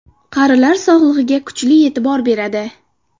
Qarilar sog‘ligiga kuchli e’tibor beradi.